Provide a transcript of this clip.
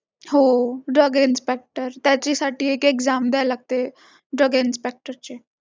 दोन बेंड वाकड करूनच बोलायला लागले मग मला राग आला मी काहीच बोलले नाही म्हटलं तुम्हालाच काय ते phone करणार होते पण ते म्हटलं काय माहित उचलते का एकदा लावलं पण